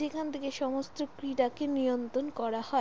যেখান থাকে সমস্ত ক্রীড়া কে নিয়ন্তন করা হয়।